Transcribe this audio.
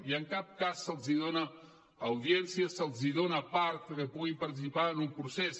i en cap cas se’ls dona audiència se’ls dona part perquè puguin participar en un procés